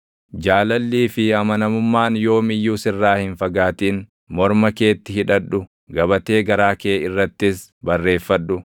Jaalallii fi amanamummaan yoom iyyuu sirraa hin fagaatin; morma keetti hidhadhu; gabatee garaa kee irrattis barreeffadhu.